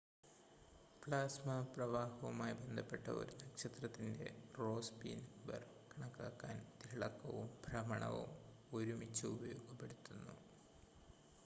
plasma പ്രവാഹവുമായി ബന്ധപ്പെട്ട ഒരു നക്ഷത്രത്തിൻ്റെ റോസ്ബി നമ്പർ കണക്കാക്കാൻ തിളക്കവും ഭ്രമണവും ഒരുമിച്ച് ഉപയോഗപ്പെടുത്തുന്നു